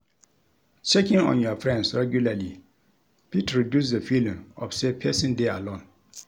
Checking on your friends regularly fit reduce the feeling of say persin de alone